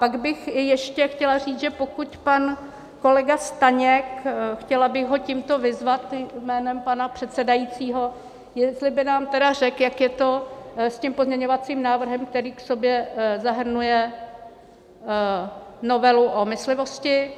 Pak bych ještě chtěla říct, že pokud pan kolega Staněk - chtěla bych ho tímto vyzvat, jménem pana předsedajícího, jestli by nám tedy řekl, jak je to s tím pozměňovacím návrhem, který v sobě zahrnuje novelu o myslivosti.